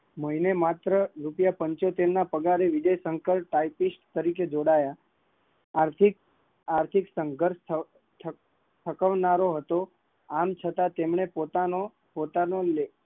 મહિને માત્ર પંચોતેર રૂપિયા ના પગારે વિજયશંકર જોડાયા હતા, આર્થિક આર્થિક સંઘર્ષ થકવનારો હતો, છતાં તેમને પોતાનો લેખન